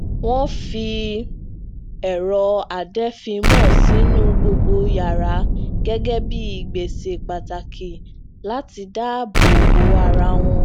wón fi èrọ adeèéfínmọ sínú gbogbo yàrá gégé bí ìgbésè pàtàkì láti dáàbò bo ara wọn